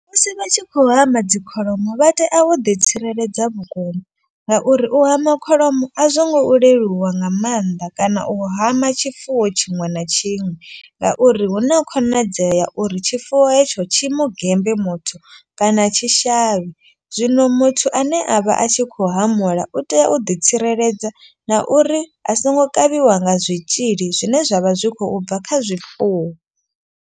Musi vha tshi khou hama dzi kholomo vha tea u ḓitsireledza vhukuma. Ngauri u hama kholomo a zwo ngo leluwa nga maanḓa kana u hama tshifuwo tshiṅwe na tshiṅwe. Ngauri hu na khonadzeo ya uri tshifuwo hetsho tshi mugembe muthu kana tshi shavhe. Zwino muthu ane a vha a tshi kho hamula u tea u ḓitsireledza na uri a songo kavhiwa nga zwitzhili zwine zwavha zwi khou bva kha zwifuwo.